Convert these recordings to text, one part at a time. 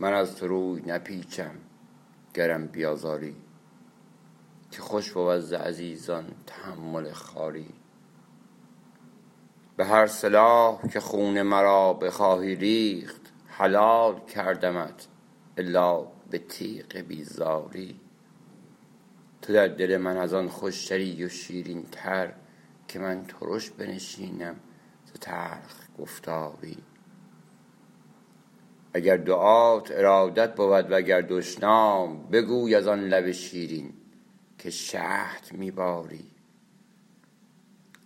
من از تو روی نپیچم گرم بیازاری که خوش بود ز عزیزان تحمل خواری به هر سلاح که خون مرا بخواهی ریخت حلال کردمت الا به تیغ بیزاری تو در دل من از آن خوشتری و شیرین تر که من ترش بنشینم ز تلخ گفتاری اگر دعات ارادت بود و گر دشنام بگوی از آن لب شیرین که شهد می باری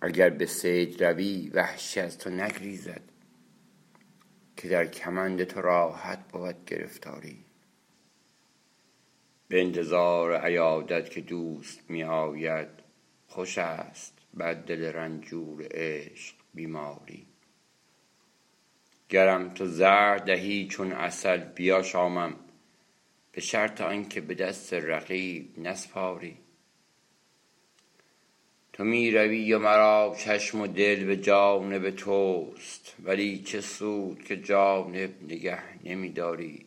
اگر به صید روی وحشی از تو نگریزد که در کمند تو راحت بود گرفتاری به انتظار عیادت که دوست می آید خوش است بر دل رنجور عشق بیماری گرم تو زهر دهی چون عسل بیاشامم به شرط آن که به دست رقیب نسپاری تو می روی و مرا چشم و دل به جانب توست ولی چه سود که جانب نگه نمی داری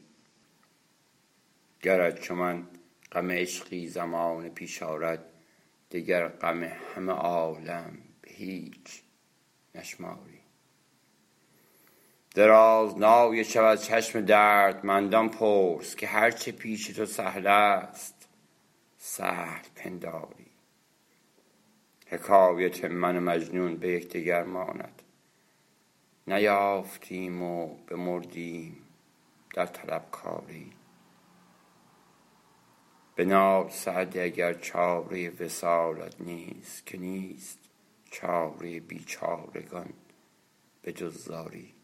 گرت چو من غم عشقی زمانه پیش آرد دگر غم همه عالم به هیچ نشماری درازنای شب از چشم دردمندان پرس که هر چه پیش تو سهل است سهل پنداری حکایت من و مجنون به یکدگر ماند نیافتیم و بمردیم در طلبکاری بنال سعدی اگر چاره وصالت نیست که نیست چاره بیچارگان به جز زاری